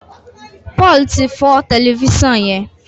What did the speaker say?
Paul tí fọ Tẹlifísàn yén.